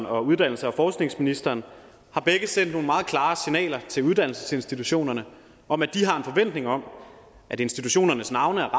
og uddannelses og forskningsministeren har begge sendt nogle meget klare signaler til uddannelsesinstitutionerne om at de har en forventning om at institutionernes navne er